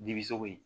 Dibi sogo in